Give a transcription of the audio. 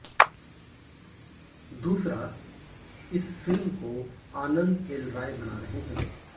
दूसरा इस फिल्म को आनंद एल राय बना रहे हैं